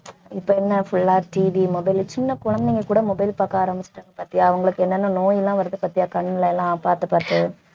இப்ப என்ன full ஆ TV mobile சின்ன குழந்தைங்க கூட mobile பாக்க ஆரம்பிச்சுட்டாங்க பாத்தியா அவங்களுக்கு என்னென்ன நோயெல்லாம் வருது பாத்தியா கண்ல எல்லாம் பாத்து பாத்து